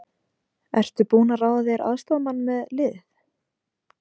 Ertu búinn að ráða þér aðstoðarmann með liðið?